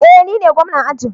Eh nine gwamna ajin